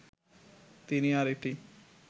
তিনি আর এটি